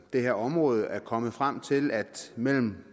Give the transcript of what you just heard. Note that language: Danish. det her område er kommet frem til at mellem